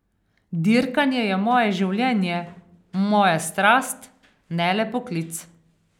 Dirkanje je moje življenje, moja strast, ne le poklic.